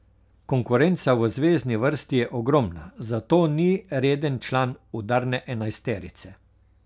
Konkurenca v zvezni vrsti je ogromna, zato ni reden član udarne enajsterice.